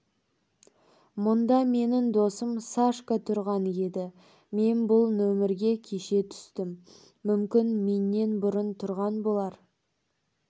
мұнда менің досым сашка тұрған еді мен бұл нөмерге кеше түстім мүмкін менен бұрын тұрған болар